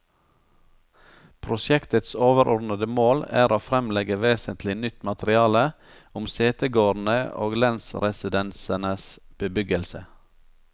Prosjektets overordede mål er å fremlegge vesentlig nytt materiale om setegårdene og lensresidensenes bebyggelse.